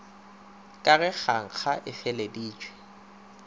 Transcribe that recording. ka ge kgankga a feleleditše